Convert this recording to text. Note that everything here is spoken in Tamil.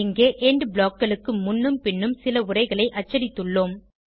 இங்கே எண்ட் blockகளுக்கு முன்னும் பின்னும் சில உரைகளை அச்சடித்துள்ளோம்